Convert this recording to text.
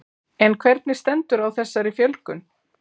En hvernig stendur á þessari fjölgun?